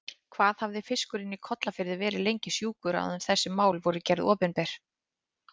Hvað hafði fiskurinn í Kollafirði verið lengi sjúkur áður en þessi mál voru gerð opinber?